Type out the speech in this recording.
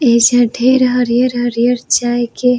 ये सब ढेर हरियर-हरियर चाय के --